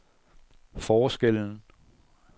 forskellen